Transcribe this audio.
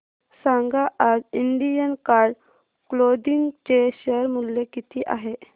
सांगा आज Indian card clothing चे शेअर मूल्य किती आहे